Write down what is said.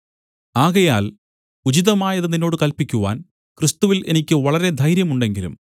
ആകയാൽ ഉചിതമായത് നിന്നോട് കല്പിക്കുവാൻ ക്രിസ്തുവിൽ എനിക്ക് വളരെ ധൈര്യം ഉണ്ടെങ്കിലും